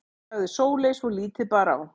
sagði Sóley svo lítið bar á.